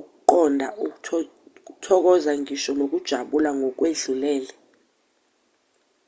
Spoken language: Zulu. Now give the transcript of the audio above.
ukuqonda ukuthokoza ngisho nokujabula ngokwedlulele